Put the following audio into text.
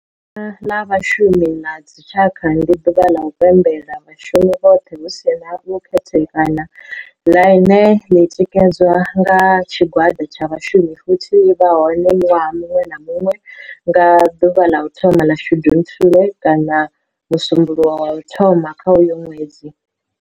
Ḓuvha ḽa Vhashumi ḽa dzi tshaka, ndi duvha ḽa u pembela vhashumi vhothe hu si na u khethekanya ḽine ḽi tikedzwa nga tshigwada tsha vhashumi futhi ḽi vha hone ṅwaha muṅwe na muṅwe we nga duvha ḽa u thoma 1 ḽa Shundunthule kana musumbulowo wa u thoma kha uyo nwedzi.